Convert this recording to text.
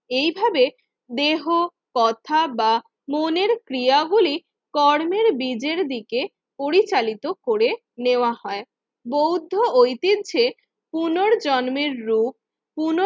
এইভাবে দেহ কথা বা মনের ক্রিয়া গুলি কর্মের বিজের দিকে পরিচালিত করে নেওয়া হয়। বৌদ্ধ ঐতিহ্যে পুনর্জন্মের রূপ পুন